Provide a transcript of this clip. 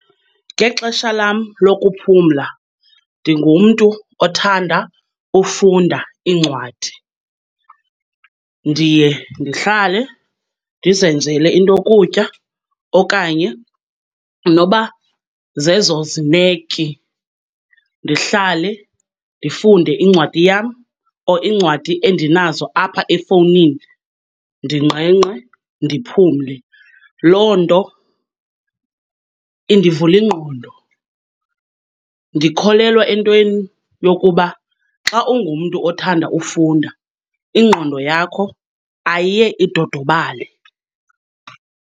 Ngexesha lam lokuphumla ndingumntu othanda ufunda iincwadi. Ndiye ndihlale, ndizenzele intokutya okanye noba zezo zineki, ndihlale ndifunde incwadi yam or iincwadi endinazo apha efowunini, ndingqengqe ndiphumle. Loo nto indivula ingqondo. Ndikholelwa entweni yokuba xa ungumntu othanda ufunda ingqondo yakho ayiye idodobale.